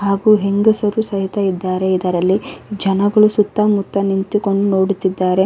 ಹಾಗು ಹೆಂಗಸರು ಸಹ ಇದ್ದಾರೆ ಇದರಲ್ಲಿ ಜನಗಳು ಸುತ್ತ ಮುತ್ತ ನಿಂತುಕೊಂಡು ನೋಡುತ್ತಿದ್ದಾರೆ.